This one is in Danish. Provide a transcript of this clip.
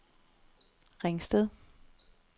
Ringsted